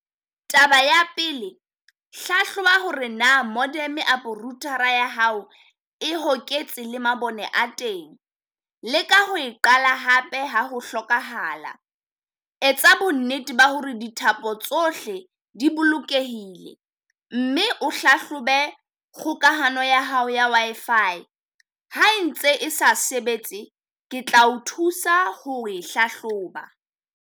Taba ya pele, hlahloba hore na moderm apo router-ra a ya hao e hoketse le mabone a teng, leka ho e qala hape ha ho hlokahala. Etsa bonnete ba hore dithapo tsohle di bolokehile mme o hlahlobe kgokahano ya hao ya Wi-Fi, ha e ntse e sa sebetse ke tla o thusa ho e hlahloba.